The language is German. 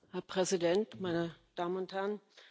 Herr Präsident, meine Damen und Herren!